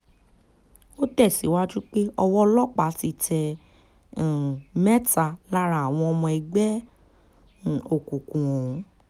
ó tẹ̀síwájú pé ọwọ́ ọlọ́pàá ti tẹ um mẹ́ta lára àwọn ọmọ ẹgbẹ́ um òkùnkùn ọ̀hún